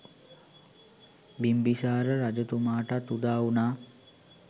බිම්බිසාර රජතුමාටත් උදාවුනා.